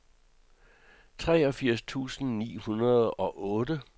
treogfirs tusind ni hundrede og otte